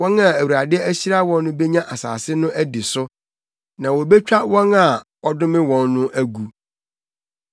Wɔn a Awurade ahyira wɔn no benya asase no adi so, na wobetwa wɔn a ɔdome wɔn no agu.